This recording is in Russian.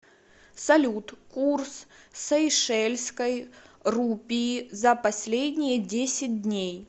салют курс сейшельской рупии за последние десять дней